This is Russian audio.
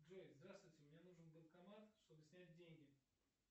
джой здравствуйте мне нужен банкомат чтобы снять деньги